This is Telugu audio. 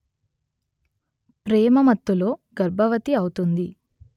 ప్రేమ మత్తులో గర్భవతి అవుతుంది